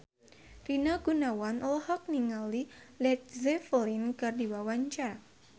Rina Gunawan olohok ningali Led Zeppelin keur diwawancara